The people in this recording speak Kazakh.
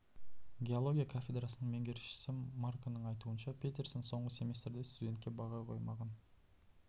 геология кафедрасының меңгерушісі марконың айтуынша петерсон соңғы семестрде студентке баға қоймаған